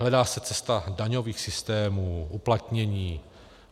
Hledá se cesta daňových systémů, uplatnění.